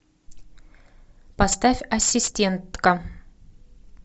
поставь ассистентка